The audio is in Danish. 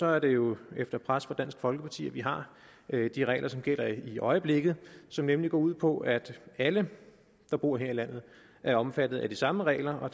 er det jo efter pres fra dansk folkeparti at vi har de regler som gælder i øjeblikket og som nemlig går ud på at alle der bor her i landet er omfattet af de samme regler og